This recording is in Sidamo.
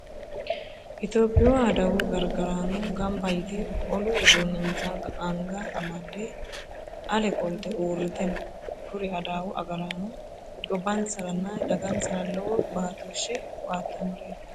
Itiyophiyu adawu gargaraano gamba yite olu uduunnensa anga amadde ale qolte uurrite no. Kuri adawu gargaraano gobbansaranna dagansara lowo baatooshshe baattannoreeti.